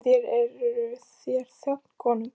En þér, eruð þér þjónn konungs?